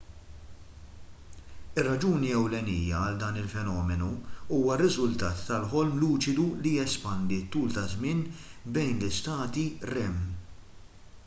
ir-raġuni ewlenija għal dan il-fenomenu huwa r-riżultat tal-ħolm luċidu li jespandi t-tul ta' żmien bejn l-istati rem